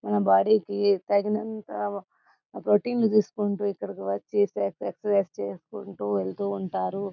తన బాడీ కి తగినంత ప్రోటీన్ తీసుకుంటూ ఇక్కడికి వచ్చి ఎక్సర్సిస్స్ చేసికుంటూ వెళ్తూవుంటారు.